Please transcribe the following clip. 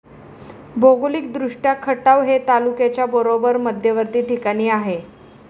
भौगोलिक दृष्टया खटाव हे तालुक्याच्या बरोबर मध्यवर्ती ठिकाणी आहे.